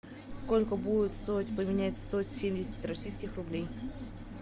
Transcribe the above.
сколько будет стоить поменять сто семьдесят российских рублей